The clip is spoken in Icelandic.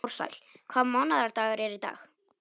Ársæl, hvaða mánaðardagur er í dag?